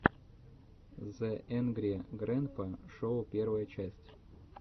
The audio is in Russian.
зе энгри грэнпа шоу первая часть